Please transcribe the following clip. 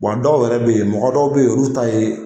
Bɔ a dɔw yɛrɛ bɛ yen , mɔgɔ dɔw bɛ yen, olu ta ye